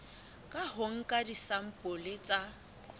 ka ho nka disampole tsa